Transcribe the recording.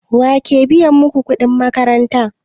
Wake biya maku kuɗin makaranta?